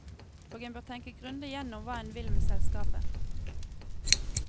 Og en bør tenke grundig igjennom hva en vil med selskapet.